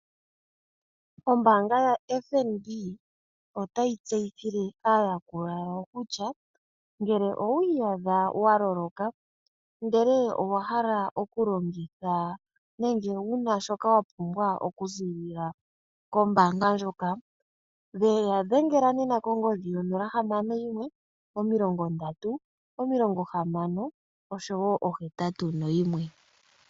Ombaanga yaFNB otayi tseyithile aayakulwa yawo kutya ngele owiiyadha wa loloka ndele owahala oku longitha nenge wuna shoka wa pumbwa oku ziilila kombanga ndjoka ya dhengela konomola yo 061306081.